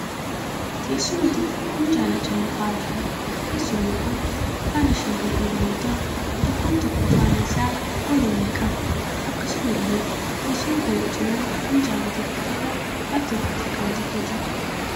Teessuma tokko minjaala cina taa'aa jiruudha. Teessumni kun faana shan kan qabu yoo ta'u tokkon tokkoo faana isaa golollee qaba. Akkasumallee teessuma kana cinaan minjaala tokko irra 'laaptooppiin' xiqqaan tokko jira.